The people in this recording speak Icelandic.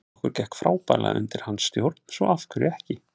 Okkur gekk frábærlega undir hans stjórn svo af hverju ekki?